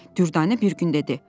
Dürdanə bir gün dedi: